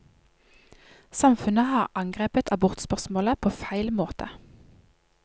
Samfunnet har angrepet abortspørsmålet på feil måte.